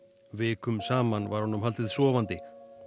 vikum saman var honum haldið sofandi